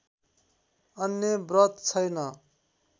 अन्य व्रत छैन